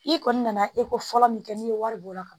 I kɔni nana eko fɔlɔ min kɛ n'i ye wari bɔ o la ka